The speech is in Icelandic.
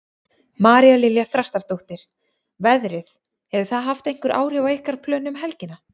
María Lilja Þrastardóttir: Veðrið, hefur það haft einhver áhrif á ykkar plön um helgina?